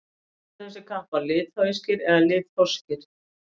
hvort eru þessir kappar litháískir eða litháskir